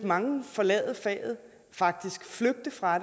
mange forlade faget faktisk flygte fra